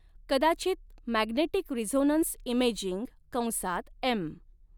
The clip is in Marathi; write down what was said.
कदाचित मॅग्नेटिक रिझोनन्स इमेजिंग कंसात एम.